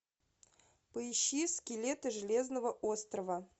поищи скелеты железного острова